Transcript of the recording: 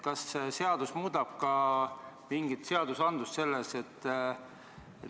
Kas uus seadus muudaks midagi ka selles valdkonnas?